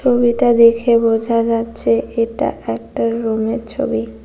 ছবিটা দেখে বোঝা যাচ্ছে এটা একটা রুমের ছবি।